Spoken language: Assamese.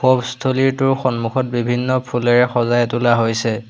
স্থলীটোৰ সন্মুখত বিভিন্ন ফুলেৰে সজাই তোলা হৈছে।